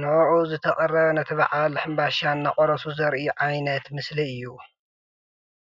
ንዑዑ ዝተቐረበ ነቲ በዓል ሕምባሻ እናቖረሱ ዘርኢ ዓይነት ምስሊ እዩ፡፡